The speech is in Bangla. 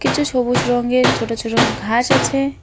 কিছু সবুজ রংয়ের ছোট ছোট ঘাস আছে।